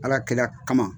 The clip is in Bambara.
Ala kɛla kama